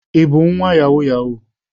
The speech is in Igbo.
Ị bu nwa yahoo yahoo?